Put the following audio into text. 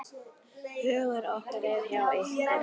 Hugur okkar er hjá ykkur.